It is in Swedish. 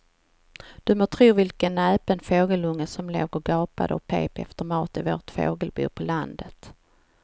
Du må tro vilken näpen fågelunge som låg och gapade och pep efter mat i vårt fågelbo på landet.